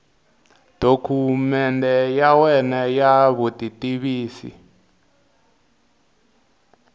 dokumende ya wena ya vutitivisi